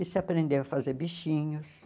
E se aprendeu a fazer bichinhos.